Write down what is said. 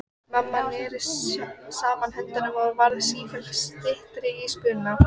Lára: Eru þið skaðabótaskyldir gagnvart þeim?